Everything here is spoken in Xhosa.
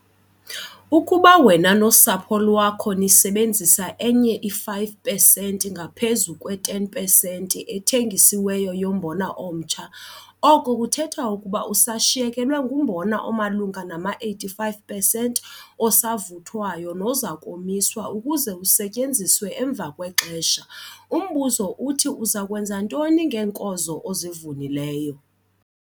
Ukuba wena nosapho lwakho nisebenzise enye i-5 pesenti ngaphezu kwe-10 pesenti ethengisiweyo yombona omtsha, oko kuthetha ukuba usashiyekelwe ngumbona omalunga nama-85 pesenti osavuthwayo noza komiswa ukuze usetyenziswe emva kwexesha. Umbuzo uthi uza kwenza ntoni ngeenkozo ozivunileyo?